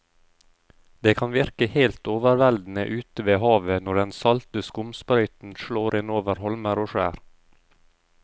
Det kan virke helt overveldende ute ved havet når den salte skumsprøyten slår innover holmer og skjær.